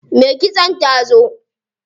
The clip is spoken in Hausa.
Me kitson ta zo.